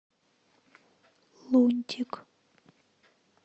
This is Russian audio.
лунтик